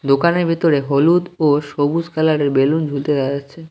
দোকানের ভিতরে হলুদ ও সবুজ কালার -এর বেলুন ঝুলতে দেখা যাচ্ছে।